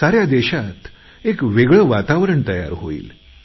साऱ्या देशात एक वेगळे वातावरण तयार होईल